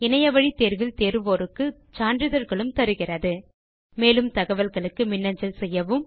இணையத்தில் பரிட்சை எழுதி தேர்வோருக்கு சான்றிதழ்களும் தருகிறது மேலும் தகவல்களுக்கு மின்னஞ்சல் செய்யவும்